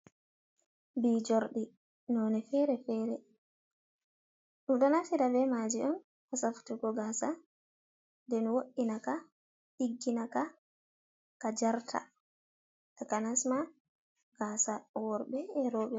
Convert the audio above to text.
Bijordi, none fere fere, ɗomdo naftira be maji on ko safutugo gasa den wo'inaka ɗigginaka, ka jarta, taka nasma gasa worbe e robe.